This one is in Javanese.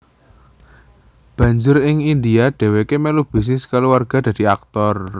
Banjur ing India dheweké melu bisnis kulawarga dadi aktor